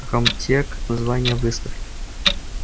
а комтек название выставки